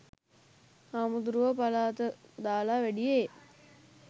හාමුදුරුවො පළාත දාලා වැඩියෙ